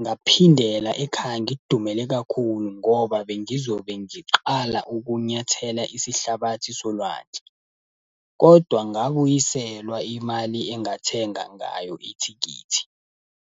Ngaphindela ekhaya ngidumele kakhulu ngoba bengizobe ngiqala ukunyathela isihlabathi solwandle. Kodwa ngabuyiselwa imali engathenga ngayo ithikithi.